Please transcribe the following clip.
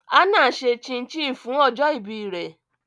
Hannah ṣe chin chin fun ọjọ ibi rẹ